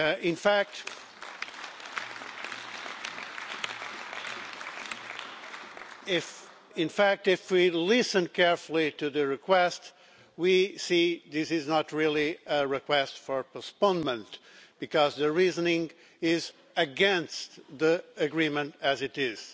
In fact, if we listen carefully to the request we see this is not really a request for postponement, because the reasoning is against the agreement as it is.